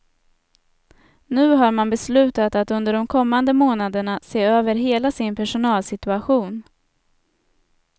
Nu har man beslutat att under de kommande månaderna se över hela sin personalsituation.